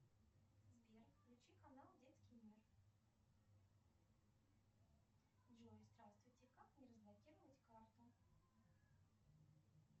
сбер включи канал детский мир джой здравствуйте как мне разблокировать карту